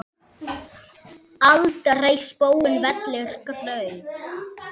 aldrei spóinn vellir graut.